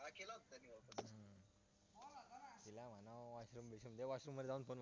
तो washroom मध्ये जाऊन